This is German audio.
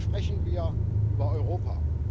Aber sprechen wir über Europa.